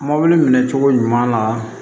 Mɔbili minɛ cogo ɲuman na